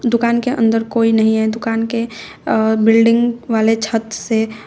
दुकान के अंदर कोई नहीं है दुकान के अ बिल्डिंग वाले छत से--